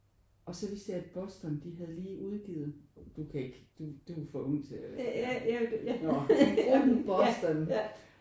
Og så vidste jeg at Boston de havde lige udgivet du kan ikke du er du er for ung til at når men gruppen Boston